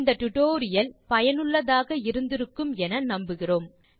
இந்த டுடோரியல் சுவாரசியமாகவும் பயனுள்ளதாகவும் இருந்திருக்கும் என நம்புகிறேன்